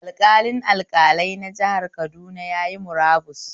Alƙalin alƙalai na jihar Kaduna yayi murabus